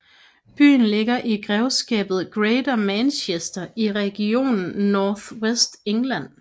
Byen ligger i grevskabet Greater Manchester i regionen North West England